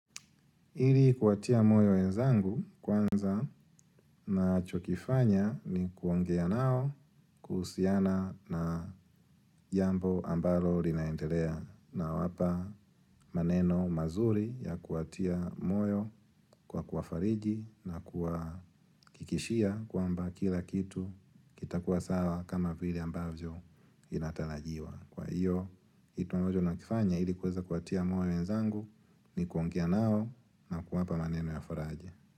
Ili kuwatia moyo wenzangu kwanza na chokifanya ni kuongea nao kusiana na jambo ambalo linaendelea na wapa maneno mazuri ya kuwatia moyo kwa kuwafariji na kuakikishia kwa mba kila kitu kitakuwa sawa kama vili ambazo inatalajiwa. Kwa hio hitu ambajo na kifanya ili kuweza kuatia moyo wenzangu ni kuongea nao na kuwapa maneno ya faraja.